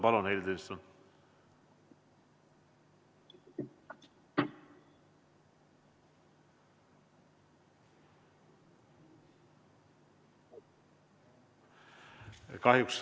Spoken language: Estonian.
Palun, Heili Tõnisson!